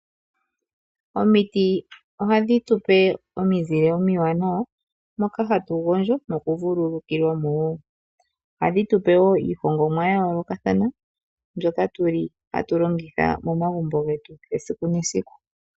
Omiti ohadhi tupe omizile omiwanawa moka hatu gondjo noku vululukilwamo woo. Ohadhi tupe woo iihongomwa ya yoolokathana mbyoka hatu longitha momagumbo getu esiku nesiku.